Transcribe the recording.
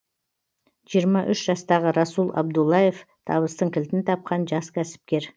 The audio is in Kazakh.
жиырма үш жастағы расул абдуллаев табыстың кілтін тапқан жас кәсіпкер